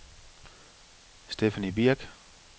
Stephanie Birk